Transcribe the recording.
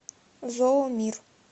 зоомир